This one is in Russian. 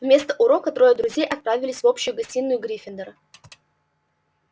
вместо урока трое друзей отправились в общую гостиную гриффиндора